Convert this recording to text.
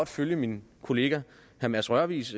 følge min kollegas herre mads rørvigs